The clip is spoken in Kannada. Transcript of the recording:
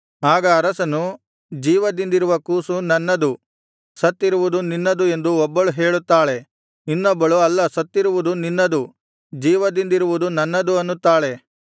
ಆಗ ಅರಸನು ಜೀವದಿಂದಿರುವ ಕೂಸು ನನ್ನದು ಸತ್ತಿರುವುದು ನಿನ್ನದು ಎಂದು ಒಬ್ಬಳು ಹೇಳುತ್ತಾಳೆ ಇನ್ನೊಬ್ಬಳು ಅಲ್ಲ ಸತ್ತಿರುವುದು ನಿನ್ನದು ಜೀವದಿಂದಿರುವುದು ನನ್ನದು ಅನ್ನುತ್ತಾಳೆ